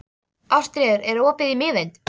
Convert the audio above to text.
Ástríður, er opið í Miðeind?